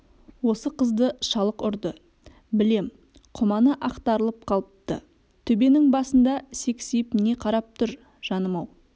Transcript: осы қызды шалық ұрды білем құманы ақтарылып қалыпты төбенің басында сексиіп не қарап тұр жаным ау